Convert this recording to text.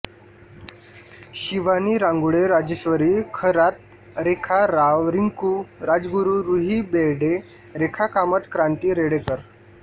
Shivani Rangole Rajeshwari Kharat Rekha Rao Rinku Rajguru Ruhi Berde Rekha Kamat Kranti Redkar